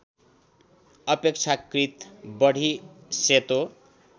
अपेक्षाकृत बढी सेतो